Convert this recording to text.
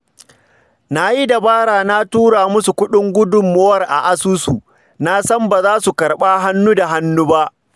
Na yi dabara na tura musu kuɗin gudunmawar a asusu, na san ba za su karɓa hannu da hannu ba